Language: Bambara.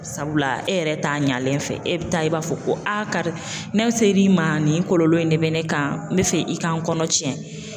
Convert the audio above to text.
Sabula e yɛrɛ t'a ɲɛlen fɛ e bɛ taa i b'a fɔ ko a karisa ne ser'i ma nin kɔlɔlɔ in de bɛ ne kan n bɛ fɛ i k'an kɔnɔ tiɲɛ